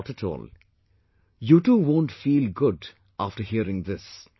Not at all, you too won't feel good after hearing this